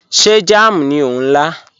Ṣé jàm ní o n la?